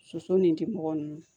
Soso ni temɔgɔ ninnu